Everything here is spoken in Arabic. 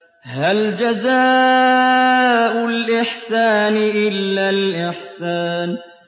هَلْ جَزَاءُ الْإِحْسَانِ إِلَّا الْإِحْسَانُ